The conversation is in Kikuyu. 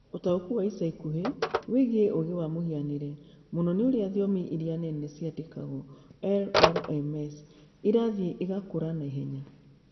Ũtaũku wa ica ikuhĩ wĩgiĩ ũũgĩ wa mũhianĩre, mũno nĩ ũrĩa thiomi iria nene ciandĩkagwo (LLMs) irathiĩ igakũra na ihenya.